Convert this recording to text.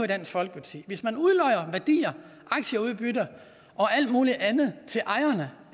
dansk folkeparti at hvis man udlodder værdier aktieudbytter og alt muligt andet til ejerne